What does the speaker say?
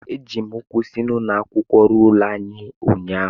Eji m ụkwụ si ụlọ akwụkwọ ruo ụlọ ụnyahụ